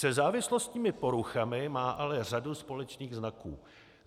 Se závislostními poruchami má ale řadu společných znaků.